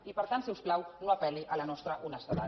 i per tant si us plau no apel·li a la nostra honestedat